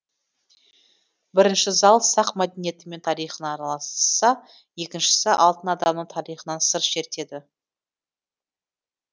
бірінші зал сақ мәдениеті мен тарихына арналса екіншісі алтын адамның тарихынан сыр шертеді